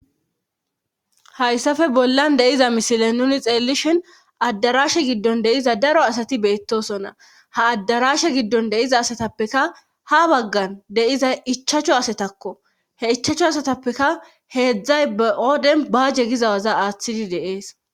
Hayssafe bollan deiza misilen nuni xeellishin addarashe giddon deiza daro asati beettosonna ha addarashe giddon deiza asatappeka ha baggan deiza ichacho asatakko he ichacho asatappeka heedzdzay baoden baaje gizawaza aaththidi deees